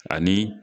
Ani